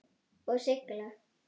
Og sigla?